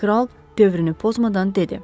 Kral dövrünü pozmadan dedi.